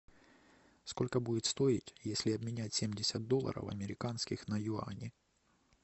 сколько будет стоить если обменять семьдесят долларов американских на юани